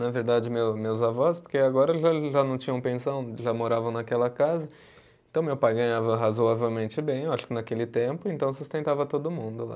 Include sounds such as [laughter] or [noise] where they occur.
Na verdade, meu meus avós, porque agora [unintelligible] já já não tinham pensão, já moravam naquela casa, então meu pai ganhava razoavelmente bem, acho que naquele tempo, então sustentava todo mundo lá.